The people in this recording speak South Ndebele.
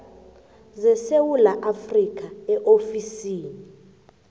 zesewula afrika eofisini